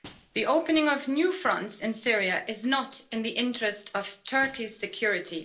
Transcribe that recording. The opening of new fronts in Syria is not in the interest of Turkey's security.